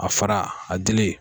A fara a dili.